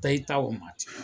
Taa i ta o ma ten